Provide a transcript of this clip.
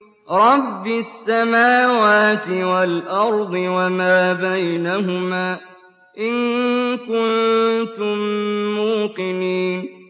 رَبِّ السَّمَاوَاتِ وَالْأَرْضِ وَمَا بَيْنَهُمَا ۖ إِن كُنتُم مُّوقِنِينَ